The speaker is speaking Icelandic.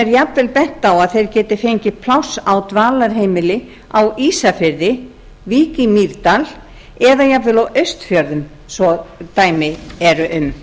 er jafnvel bent á að þeir geti fengið pláss á dvalarheimili á ísafirði vík í mýrdal eða jafnvel á austfjörðum svo dæmi eru um